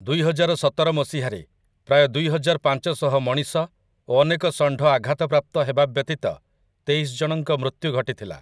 ଦୁଇହଜାରସତର ମସିହାରେ, ପ୍ରାୟ ଦୁଇହଜାରପାଞ୍ଚଶହ ମଣିଷ ଓ ଅନେକ ଷଣ୍ଢ ଆଘାତପ୍ରାପ୍ତ ହେବା ବ୍ୟତୀତ ତେଇଶ ଜଣଙ୍କ ମୃତ୍ୟୁ ଘଟିଥିଲା ।